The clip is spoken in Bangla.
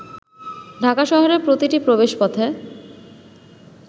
ঢাকা শহরের প্রতিটি প্রবেশপথে